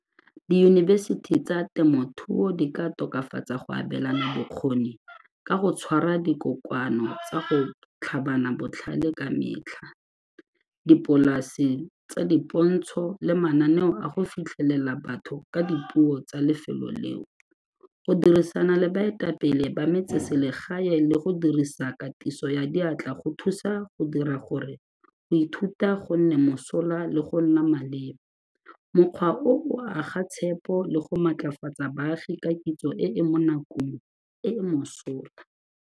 Diyunibesithi tsa temothuo di ka tokafatsa go abelana bokgoni ka go tshwara dikokoano tsa go tlhabana botlhale ka metlha, dipolase tsa dipontsho le mananeo a go fitlhelela batho ka dipuo tsa lefelo leo. Go dirisana le baetapele ba metseselegae le go dirisa katiso ya diatla go thusa go dira gore go ithuta gonne mosola le go nna maleba, mokgwa o o aga tshepo le go matlafatsa baagi ka kitso e e mo nakong e e mosola.